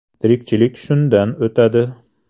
Tirikchilik shundan o‘tadi.